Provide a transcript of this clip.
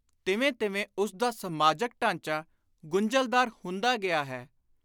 ਤਿਵੇਂ ਤਿਵੇਂ ਉਸਦਾ ਸਮਾਜਕ ਢਾਂਚਾ ਗੁੰਝਲਦਾਰ ਹੁੰਦਾ ਗਿਆ ਹੈ।